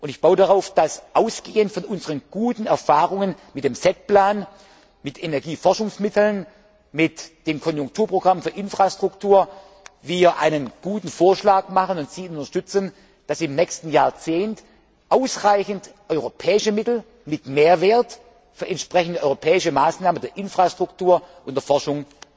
Parlament. Ich baue darauf, dass wir ausgehend von unseren guten Erfahrungen mit dem SET Plan, mit Energieforschungsmitteln und mit dem Konjunkturprogramm für Infrastruktur einen guten Vorschlag machen und Sie ihn unterstützen, damit im nächsten Jahrzehnt ausreichend europäische Mittel mit Mehrwert für entsprechende europäische Maßnahmen in den Bereichen Infrastruktur und